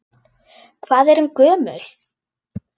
Hvað er hún gömul?